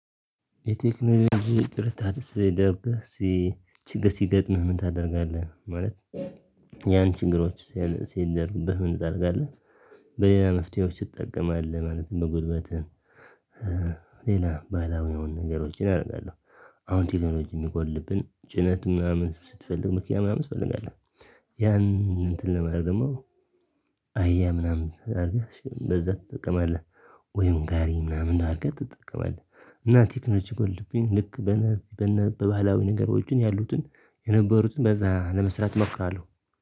የቴክኖሎጂ ጥረት አድርሰህ ደርበህ ሲ ችግር ሲገጥምህ ምን ታደርጋለህ ማለት ያን ችግሮች ሲያነቅ ሲያደርግብህ ምን ታደርጋለህ? በሌላ መፍትሄዎች ይጠቀማል ማለት ነው። ጉልበትህን ሌላ ባለሙያውን ነገሮችን አደርጋለሁ። አሁን ቴክኖሎጂ የሚጎድልብን ጭነት ምናምን ስትፈልግ ምክንያት ምናምን እፈልጋለሁ። ያን እንትን ለማድረም ደግሞ አህያ ምናምን አለች በዛ ትጠቀማለህ። ወይም ጋሪ ምናምን አርገህ ትጠቀማለህ። እና ቴክኖሎጂ ጎልድብኝ ልክ በነዚህ በነበላዊ ንገሮችን ያሉትን የነበሩትን በዛ ለመስራት መፍራለሁ።